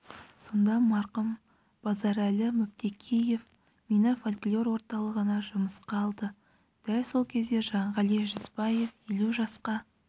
сонда марқұм базарәлі мүптекеев мені фольклор орталығына жұмысқа алды дәл сол кезде жанғали жүзбаев елу жасқа